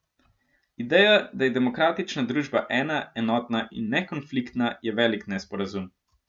Ideja, da je demokratična družba ena, enotna in nekonfliktna, je velik nesporazum.